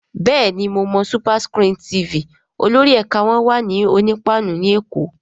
Bẹ́ẹ̀ni mo mọ SuperScreen TV, olórí ẹ̀ka wọn wà ní Onípáánù ní Èkó